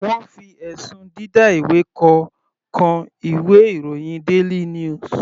Wọ́n fi ẹ̀sùn dida ìwé kọ kan ìwé ìròyìn daily news.